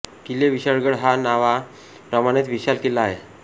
किल्ले विशाळगड हा नावा प्रमाणेच विशाल किल्ला आहे